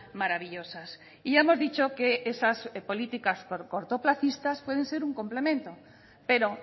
maravillosas y ya hemos dicho que esas políticas por cortoplacistas pueden ser un complemento pero